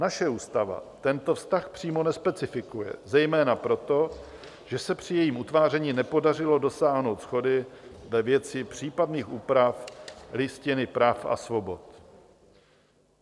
Naše ústava tento vztah přímo nespecifikuje, zejména proto, že se při jejím utváření nepodařilo dosáhnout shody ve věci případných úprav Listiny práv a svobod.